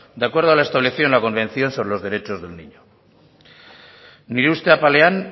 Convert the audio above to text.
de acuerdo a los establecido en la convención sobre los derechos del niño nire uste apalean